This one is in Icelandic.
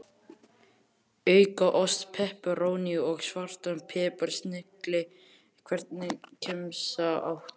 Auka ost, pepperóní og svartan pipar, snilli Hvernig gemsa áttu?